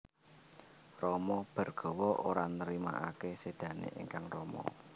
Rama Bhargawa ora nrimakaké sédané ingkang rama